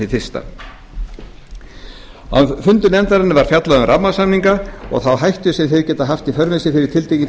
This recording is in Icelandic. hið fyrsta á fundum nefndarinnar var fjallað um rammasamninga og þá hættu sem þeir geta haft í för